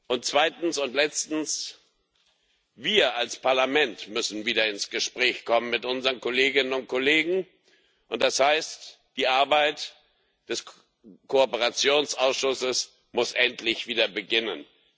Und zweitens und letztens Wir als Parlament müssen wieder ins Gespräch kommen mit unseren Kolleginnen und Kollegen, und das heißt Die Arbeit des Kooperationsausschusses muss endlich wieder beginnen.